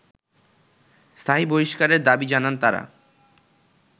স্থায়ী বহিষ্কারের দাবি জানান তারা